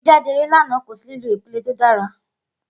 Igbejade eré lana, ko si lilo ipele to dara.